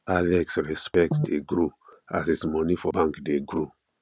alex respect dey grow as his money for bank dey grow